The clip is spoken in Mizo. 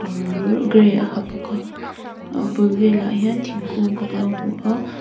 gray a ha bawka a bul velah hian thingkung kan lo hmu a.